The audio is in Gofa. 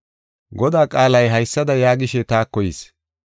Godaa qaalay haysada yaagishe taako yis.